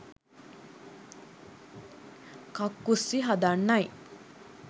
කක්කුස්සි හදන්නයි